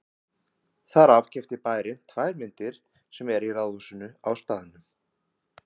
Þar af keypti bærinn tvær myndir sem eru í ráðhúsinu á staðnum.